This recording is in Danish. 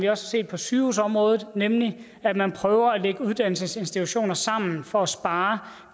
har set på sygehusområdet nemlig at man prøver at lægge uddannelsesinstitutioner sammen for at spare